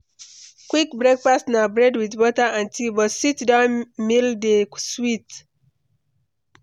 Quick breakfast na bread with butter and tea, but sit-down meal dey sweet